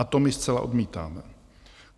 A to my zcela odmítáme.